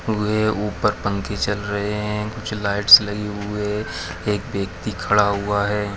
-- हुए ऊपर पंखे चल हैं कुछ लाइटस लगे हुए एक व्यक्ति खड़ा हुआ है।